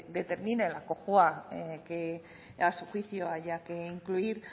determine la cojua que a su juicio haya que incluir